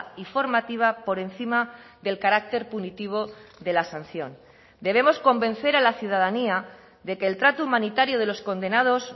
y formativa por encima del carácter punitivo de la sanción debemos convencer a la ciudadanía de que el trato humanitario de los condenados